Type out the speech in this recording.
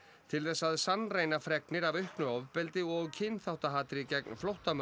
til þess að sannreyna fregnir af auknu ofbeldi og kynþáttahatri gegn flóttamönnum